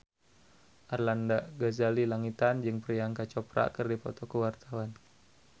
Arlanda Ghazali Langitan jeung Priyanka Chopra keur dipoto ku wartawan